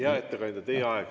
Aitäh!